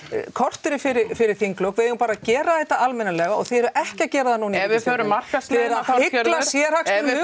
korteri fyrir fyrir þinglok við eigum bara að gera þetta almennilega og þið eruð ekki að gera það núna ef við förum markaðsleiðina hygla sérhagsmunum ef við